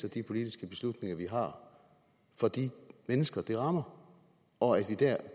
af de politiske beslutninger vi tager for de mennesker det rammer og at vi der